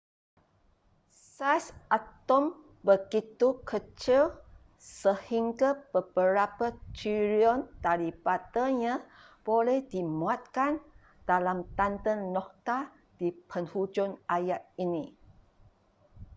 saiz atom begitu kecil sehingga beberapa trilion daripadanya boleh dimuatkan dalam tanda noktah di penghujung ayat ini